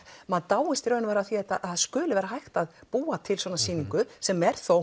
maður dáist að því að það skuli vera hægt að búa til svona sýningu sem er þó